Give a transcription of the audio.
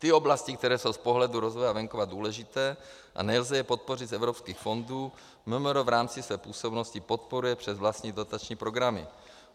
Ty oblasti, které jsou z pohledu rozvoje venkova důležité a nelze je podpořit z evropských fondů, MMR v rámci své působnosti podporuje přes vlastní dotační programy.